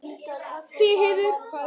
Stígheiður, hvað er á dagatalinu í dag?